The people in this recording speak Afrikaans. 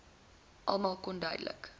almal kon onduidelik